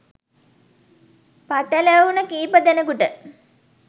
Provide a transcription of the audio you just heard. පටැලවුණු කීප දෙනෙකුට